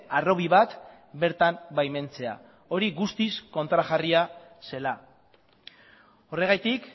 harrobi bat bertan baimentzea hori guztiz kontrajarria zela horregatik